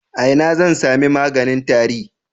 A ina zan sami maganin tari?